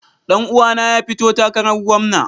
Dan uwana ya fito takarar gwamna.